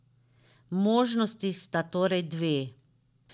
Možnosti sta torej dve.